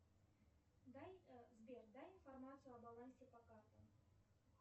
дай сбер дай информацию о балансе по картам